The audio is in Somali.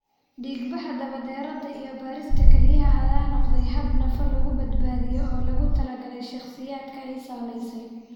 Dhiig-baxa daba dheeraada iyo beerista kelyaha ayaa noqday habab nafo lagu badbaadiyo oo loogu talagalay shakhsiyaadka ay saamaysay.